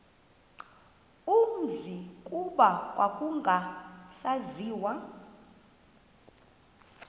umzi kuba kwakungasaziwa